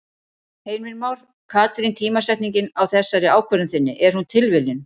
Heimir Már: Katrín tímasetningin á þessari ákvörðun þinni, er hún tilviljun?